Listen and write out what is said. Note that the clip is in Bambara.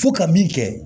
Fo ka min kɛ